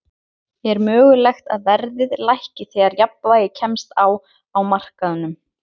Er mögulegt að verðið lækki þegar jafnvægi kemst á á markaðnum?